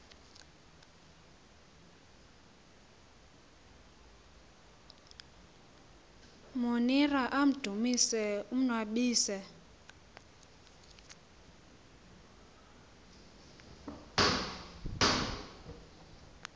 monira amdumise umnnwabisi